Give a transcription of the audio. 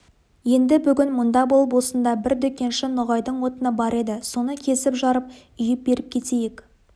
енді бүгін мұнда болып осында бір дүкенші ноғайдың отыны бар еді соны кесіп жарып үйіп беріп кетейік